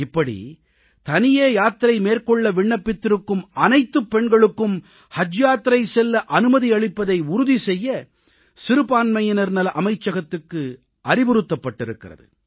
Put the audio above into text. இப்படி தனியே யாத்திரை மேற்கொள்ள விண்ணப்பித்திருக்கும் அனைத்துப் பெண்களுக்கும் ஹஜ் யாத்திரை செல்ல அனுமதி அளிப்பதை உறுதி செய்ய சிறுபான்மையினர் நல அமைச்சகத்துக்கு அறிவுறுத்தப்பட்டிருக்கிறது